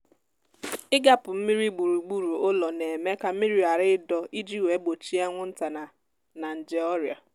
igapu mmiri gburugburu ụlọ na-eme ka mmiri ghara ịdọ iji wee gbochie anwụnta na na nje ọrịa